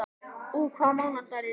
Úa, hvaða mánaðardagur er í dag?